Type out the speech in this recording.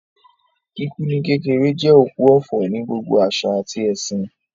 Kíkú ní kékeré jẹ́ òkú ọ̀fọ̀ ní gbogbo àṣà àti ẹ̀sìn